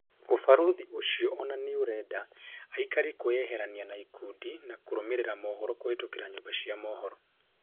ũbarũthi ũcio ona nĩurenda aikari kwĩyeherania na ikundi na kũrũmĩrĩra mohoro kũhĩtũkĩra nyũmba cia mohoro